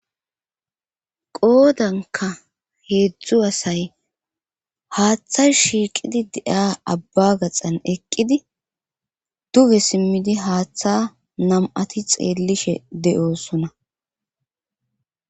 Qoodanka heedzdzu asay haaththa shiiqidi de7a abba gaxan eqqidi duge simmidi haaththa nam7ati xeellishe de7oosona.